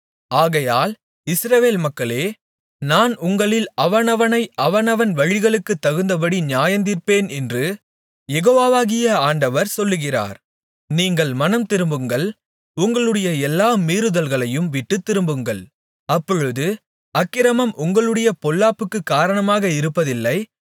ஆகையால் இஸ்ரவேல் மக்களே நான் உங்களில் அவனவனை அவனவன் வழிகளுக்குத் தகுந்தபடி நியாயந்தீர்பேன் என்று யெகோவாகிய ஆண்டவர் சொல்லுகிறார் நீங்கள் மனந்திரும்புங்கள் உங்களுடைய எல்லா மீறுதல்களையும் விட்டுத் திரும்புங்கள் அப்பொழுது அக்கிரமம் உங்களுடைய பொல்லாப்புக்கு காரணமாக இருப்பதில்லை